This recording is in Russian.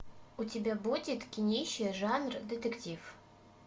у тебя будет кинище жанр детектив